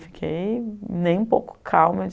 Fiquei nem um pouco calma.